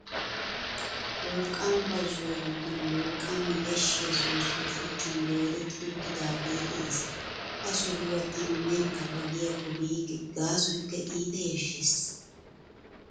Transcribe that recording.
Wolqqaama bazzuwa giddon wolqqaama yashshiya soossoy shuchchan doodetti uttidaagee de'ees. Ha sohuwa tana nerkka ba giyakko biikke gaasoykk iita yashshees.